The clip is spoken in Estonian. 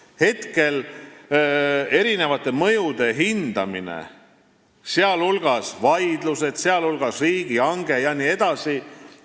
Praegu toimub mõjude hindamine, toimuvad vaidlused, tehakse riigihange jne.